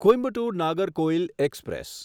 Coimbatore Nagercoil express